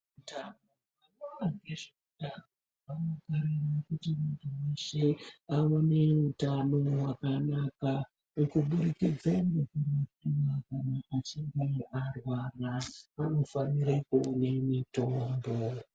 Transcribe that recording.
Tano vanoona ngezveutano vanokurudzira kuti Muntu weshe aone utano hwakanaka ngokuburrikidze ngeku..... Kana achinge arwara unofanire kumwe mutombo.